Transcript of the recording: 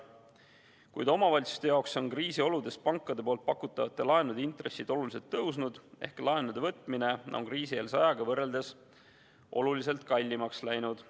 Kuid kriisioludes on omavalitsuste jaoks pankade pakutavate laenude intressid oluliselt tõusnud ehk laenude võtmine on kriisieelse ajaga võrreldes oluliselt kallimaks läinud.